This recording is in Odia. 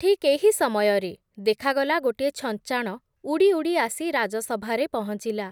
ଠିକ୍ ଏହି ସମୟରେ, ଦେଖାଗଲା ଗୋଟିଏ ଛଞ୍ଚାଣ ଉଡ଼ି ଉଡ଼ି ଆସି ରାଜସଭାରେ ପହଞ୍ଚିଲା ।